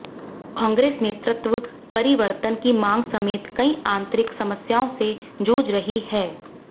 कांग्रेस नेतृत्व परिवर्तन की मांग समेत कई आंतरिक समस्याओं से जूझ रही है